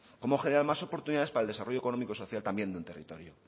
cómo generar más oportunidades para el desarrollo económico y social también de un territorio